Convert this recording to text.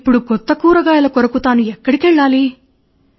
ఇపుడు కొత్త కూరగాయల కొరకు తాను ఎక్కడికి వెళ్ళాలి